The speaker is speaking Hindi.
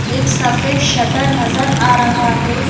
एक सफेद शटर नजर आ रहा है।